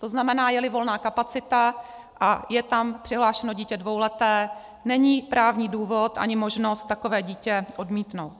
To znamená, je-li volná kapacita a je tam přihlášeno dítě dvouleté, není právní důvod ani možnost takové dítě odmítnout.